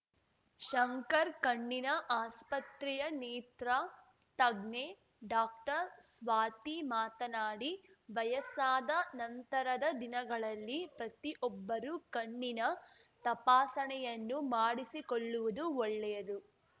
ಶಂಕರ್ ಕಣ್ಣಿನ ಆಸ್ಪತ್ರೆಯ ನೇತ್ರ ತಜ್ಞೆ ಡಾಕ್ಟರ್ಸ್ವಾತಿ ಮಾತನಾಡಿ ವಯಸ್ಸಾದ ನಂತರದ ದಿನಗಳಲ್ಲಿ ಪ್ರತಿಒಬ್ಬರೂ ಕಣ್ಣಿನ ತಪಾಸಣೆಯನ್ನು ಮಾಡಿಸಿಕೊಳ್ಳುವುದು ಒಳ್ಳೆಯದು